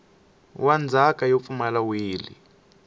wa ndzhaka yo pfumala wili